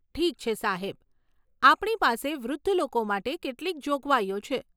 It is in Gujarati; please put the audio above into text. ઠીક છે, સાહેબ. આપણી પાસે વૃદ્ધ લોકો માટે કેટલીક જોગવાઈઓ છે.